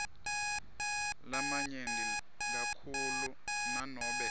lamanyenti kakhulu nanobe